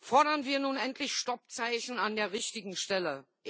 Fordern wir nun endlich Stoppzeichen an der richtigen Stelle.